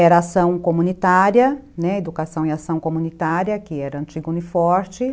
Era ação comunitária, né, educação e ação comunitária, que era antiga Uni Forte.